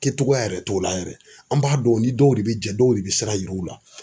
Kɛ togoya yɛrɛ t'o la yɛrɛ an b'a dɔn o ni dɔw de bɛ jɛ dɔw de bɛ sira yir'u la.